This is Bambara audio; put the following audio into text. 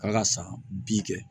K'a ka san bi kɛ